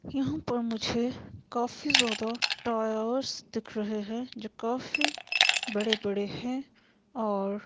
यहां पर मुझे काफी ज्यादा टायर्स दिख रहे हैं जो काफी बड़े बड़े हैं और--